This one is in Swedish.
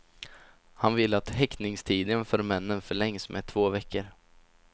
Han vill att häktningstiden för männen förlängs med två veckor.